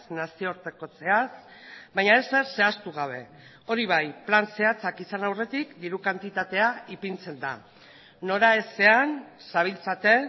nazioartekotzeaz baina ezer zehaztu gabe hori bai plan zehatzak izan aurretik diru kantitatea ipintzen da noraezean zabiltzate